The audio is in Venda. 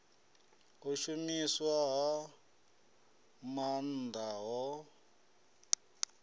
u shumiswa ha maanḓa ho